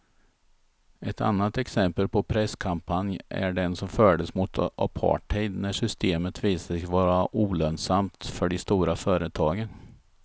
Ett annat exempel på presskampanj är den som fördes mot apartheid när systemet visade sig vara olönsamt för de stora företagen.